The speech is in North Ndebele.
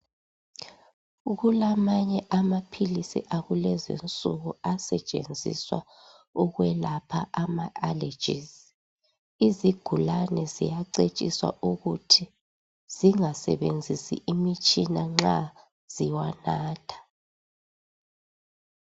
Kulamanye amaphilizi akulezi nsuku asetshenziswa ukwelapha ama "allergies", izigulane ziyacetshiswa ukuthi zingasebenzisi imitshina nxa ziwanatha.